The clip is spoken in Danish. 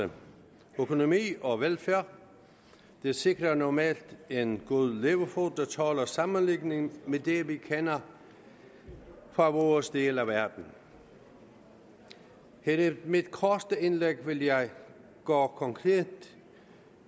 økonomi og velfærd det sikrer normalt en god levefod der tåler sammenligning med det vi kender fra vores del af verden her i mit korte indlæg vil jeg gå konkret